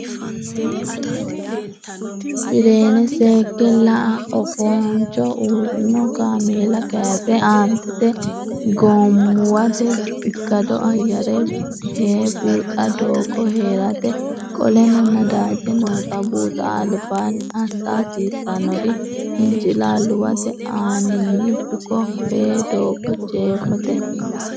fireene seekke la a Oofaanchu uurrino kaameela kayise Aantete Gommuwate ikkado ayyare hee buuxa doogo ha rate Qoleno Nadaaje noota buuxa albaanni assa hasiissannori Hincilaalluwate aaninni buko fee doogo Jeefote ha.